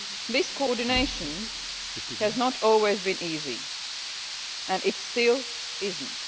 This coordination has not always been easy and it still is not.